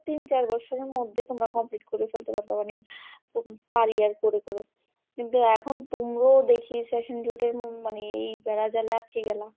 তিন চার বছরের মধ্যে তোমরা complete করে ফেলতে পারবে মানে per year করে করে কিন্তু এখন তুমরাও দেখি session জটের ম~ মানে এই বেড়া জালে আটকে গেলা।